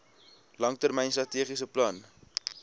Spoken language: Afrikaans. langtermyn strategiese plan